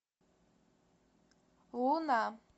луна